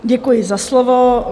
Děkuji za slovo.